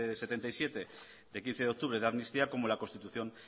setenta y siete de quince de octubre de amnistía como la constitución